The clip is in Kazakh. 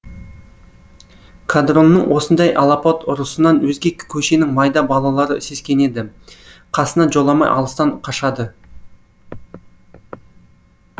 қадронның осындай алапат ұрысынан өзге көшенің майда балалары сескенеді қасына жоламай алыстан қашады